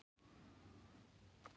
Ég veiði menn og sleppi aldrei.